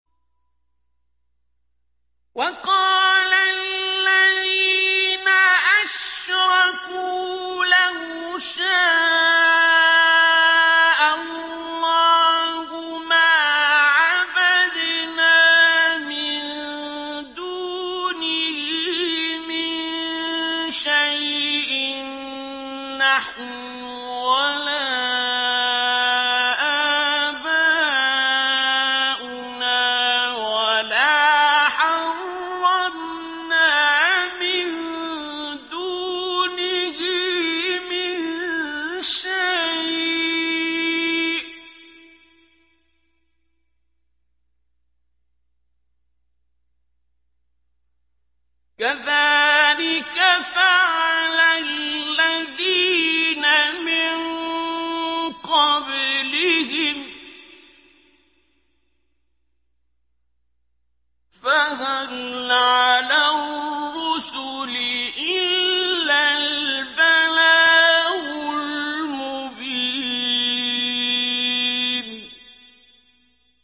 وَقَالَ الَّذِينَ أَشْرَكُوا لَوْ شَاءَ اللَّهُ مَا عَبَدْنَا مِن دُونِهِ مِن شَيْءٍ نَّحْنُ وَلَا آبَاؤُنَا وَلَا حَرَّمْنَا مِن دُونِهِ مِن شَيْءٍ ۚ كَذَٰلِكَ فَعَلَ الَّذِينَ مِن قَبْلِهِمْ ۚ فَهَلْ عَلَى الرُّسُلِ إِلَّا الْبَلَاغُ الْمُبِينُ